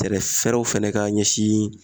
Fɛɛrɛw fɛnɛ ka ɲɛsin